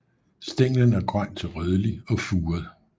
Stænglen er grøn til rødlig og furet